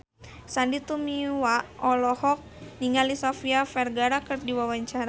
Sandy Tumiwa olohok ningali Sofia Vergara keur diwawancara